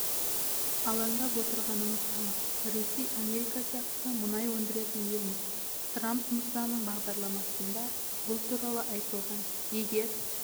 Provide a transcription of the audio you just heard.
алаңдап отырғанымыз анық ресей америка сияқты мұнай өндіретін елміз трамп мырзаның бағдарламасында бұл туралы айтылған егер